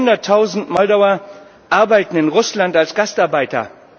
Einige Hunderttausend Moldauer arbeiten in Russland als Gastarbeiter.